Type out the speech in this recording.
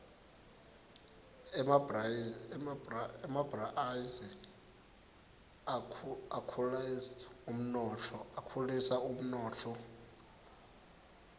emabhriaisi akhulisd umnotfo